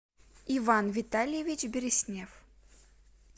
иван витальевич берестнев